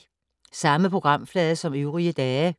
Samme programflade som øvrige dage